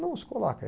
Não se coloca.